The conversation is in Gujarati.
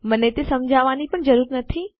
મને તે સમજાવવાની પણ જરૂર નથી પણ છતાં